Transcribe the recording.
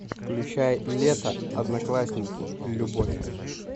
включай лето одноклассники любовь